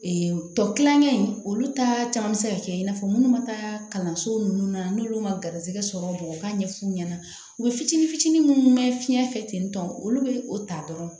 tɔ kilankɛ in olu ta caman bɛ se ka kɛ i n'a fɔ minnu ma taa kalanso ninnu na n'olu ma garisigɛ sɔrɔ u ka ɲɛfu ɲɛna u bɛ fitini fitini minnu mɛn fiɲɛ fɛ ten tɔn olu bɛ o ta dɔrɔn